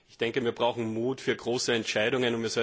Ich denke, wir brauchen Mut für große Entscheidungen.